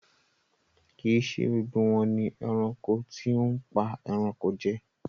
Kí ì ṣe gbogbo wọn ni ẹranko tí óhún pa ẹranko jẹ.